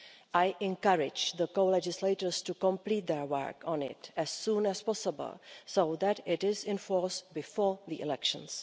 I encourage the co-legislators to complete their work on it as soon as possible so that it is in force before the elections.